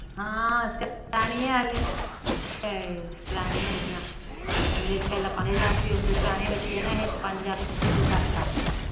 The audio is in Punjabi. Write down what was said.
ਹਮ ਕਰਾਣੀ ਆ ਹਲੇ ਪਹਿਲਾ ਪੰਜ ਹਜ਼ਾਰ ਉਣ ਦੇ ਪਰਾਣੇ ਬਚੇ ਨਾ ਏਹੇ ਤਾ ਪੰਜ ਹਜ਼ਾਰ ਪੱਚੀ ਸੋ ਕਰਤਾ